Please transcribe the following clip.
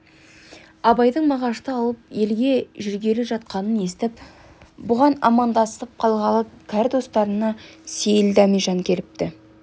абайдың мағашты алып елге жүргелі жатқанын естіп бұған амандасып қалғалы кәрі достарынан сейіл дәмежан келіпті